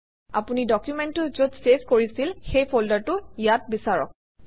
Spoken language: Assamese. আপুনি ডকুমেণ্টটো যত চেভ কৰিছিল সেই ফল্ডাৰটো ইয়াত বিচাৰক